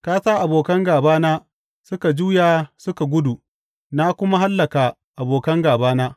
Ka sa abokan gābana suka juya suka gudu, na kuma hallaka abokan gābana.